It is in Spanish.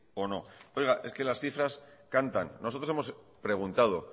o no oiga es que las cifras cantan nosotros hemos preguntado